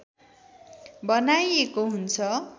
बनाइएको हुन्छ